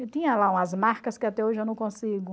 tinha lá umas marcas que até hoje eu não consigo...